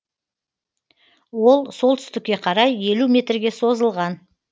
ол солтүстікке қарай елу метрге созылған